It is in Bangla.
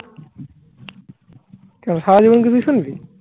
সারাজীবন কি তুই শুনবি?